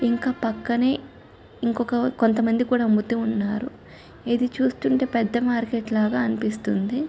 ఇంకా పక్కనే ఇంకొక కొంత మంది కూడా అమ్ముతూ ఉన్నారు. ఇది చూస్తుంటే పెద్ద మార్కెట్ లాగా అనిపిస్తుంది.